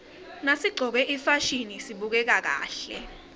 nasiqcoke ifasihni sibukeka kahle